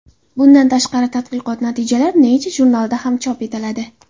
Bundan tashqari, tadqiqot natijalari Nature jurnalida ham chop etiladi.